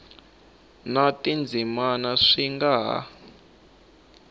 na tindzimana swi nga ha